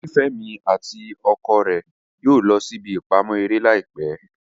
Nifemi ati ọkọ rẹ yóò lọ sí ìbí ipamọ eré laipẹ